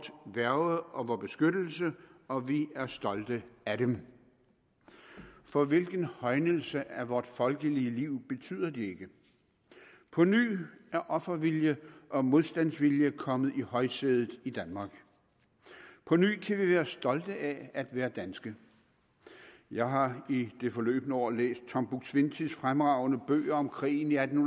værge og vor beskyttelse og vi er stolte af dem for hvilken højnelse af vort folkelige liv betyder de ikke på ny er offervilje og modstandsvilje kommet i højsædet i danmark på ny kan vi være stolte af at være danske jeg har i det forløbne år læst tom buk swientys fremragende bøger om krigen i atten